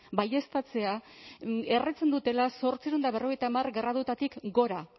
baieztatzea erretzen dutela zortziehun eta berrogeita hamar gradutatik gora